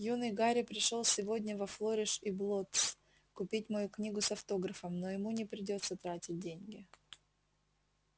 юный гарри пришёл сегодня во флориш и блоттс купить мою книгу с автографом но ему не придётся тратить деньги